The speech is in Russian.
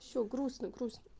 всё грустно грустно